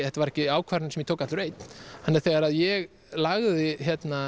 þetta var ekki ákvörðun sem ég tók allur einn þannig að þegar ég lagði